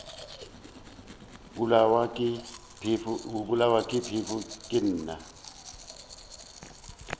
bolawa ke phefo ke na